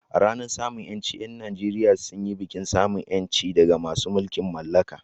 A ranar samun ƴanci, ƴan Nageriya sun yi bikin samun ƴanci daga masu mulkin mallaka.